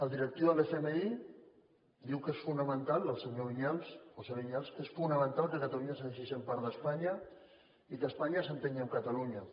el directiu de l’fmi diu que és fonamental el senyor vinyals josé vinyals que catalunya segueixi sent part d’espanya i que espanya s’entengui amb catalunya